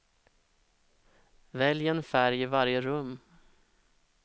Välj en färg i varje rum.